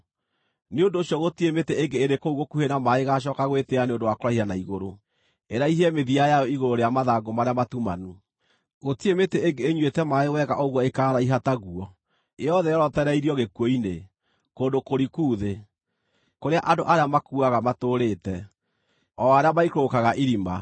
Nĩ ũndũ ũcio gũtirĩ mĩtĩ ĩngĩ ĩrĩ kũu gũkuhĩ na maaĩ ĩgaacooka gwĩtĩĩa nĩ ũndũ wa kũraiha na igũrũ, ĩraihie mĩthia yayo igũrũ rĩa mathangũ marĩa matumanu. Gũtirĩ mĩtĩ ĩngĩ ĩnyuĩte maaĩ wega ũguo ĩkaaraiha ta guo; yothe yorotereirio gĩkuũ-inĩ, kũndũ kũriku thĩ, kũrĩa andũ arĩa makuuaga matũũrĩte, o arĩa maikũrũkaga irima.